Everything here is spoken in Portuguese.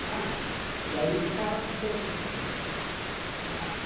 Ah, e aí eu ficava perguntando.